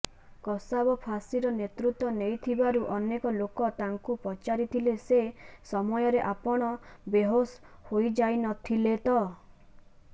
କସାବ ଫାଶୀର ନେତୃତ୍ ନେଇଥିବାରୁ ଅନେକ ଲୋକ ତାଙ୍କୁ ପଚାରିଥିଲେ ସେ ସମୟରେ ଆପଣ ବେହୋସ୍ ହୋଇଯାଇନଥିଲେ ତ